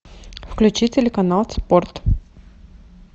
включи телеканал спорт